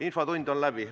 Infotund on läbi.